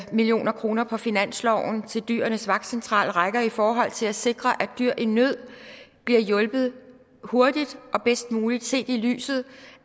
million kroner på finansloven til dyrenes vagtcentral rækker i forhold til at sikre at dyr i nød bliver hjulpet hurtigt og bedst muligt set i lyset